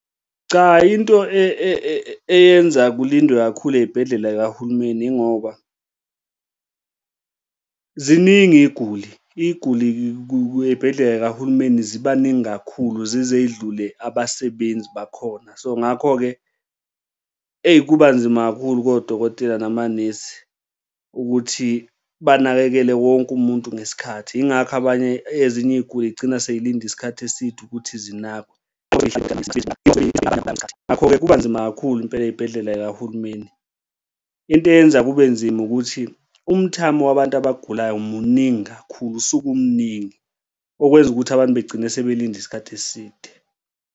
Cha, into eyenza kulindwe kakhulu ey'bhedlela y'kahulumeni ingoba ziningi iy'guli, iy'guli ey'bhedlela y'kahulumeni ziba ningi kakhulu zize y'dlule abasebenzi bakhona. So, ngakho-ke eyi, kuba nzima kakhulu kodokotela namanesi ukuthi banakekele wonke umuntu ngesikhathi. Yingakho abanye ezinye iy'guli y'gcina sey'linde isikhathi eside ukuthi zinakwe ngakho-ke kuba nzima kakhulu impela ey'bhedlela zikahulumeni. Into eyenza kube nzima ukuthi umthamo wabantu abagulayo muningi kakhulu usuke umningi okwenza ukuthi abantu begcine sebelinde isikhathi eside.